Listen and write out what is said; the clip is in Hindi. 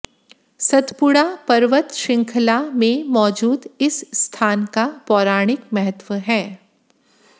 सतपुड़ा पर्वत श्रंखला में मौजूद इस स्थान का पौराणिक महत्व है